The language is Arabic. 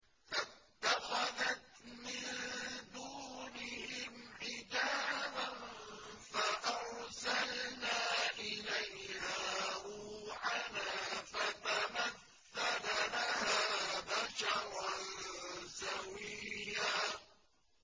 فَاتَّخَذَتْ مِن دُونِهِمْ حِجَابًا فَأَرْسَلْنَا إِلَيْهَا رُوحَنَا فَتَمَثَّلَ لَهَا بَشَرًا سَوِيًّا